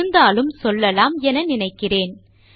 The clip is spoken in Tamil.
இருந்தாலும் சொல்லலாம் என நினைத்தேன்